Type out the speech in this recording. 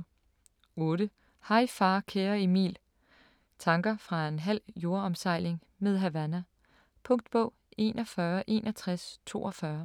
8. Hej far kære Emil: tanker fra en halv jordomsejling med Havana Punktbog 416142